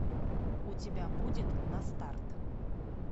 у тебя будет на старт